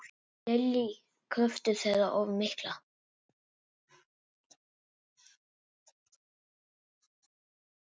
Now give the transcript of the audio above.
Lillý: Kröfur þeirra of miklar?